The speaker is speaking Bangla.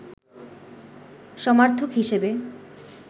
সমার্থক হিসেবে